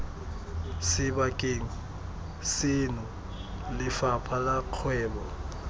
sebakeng seno lefapha la kgwebo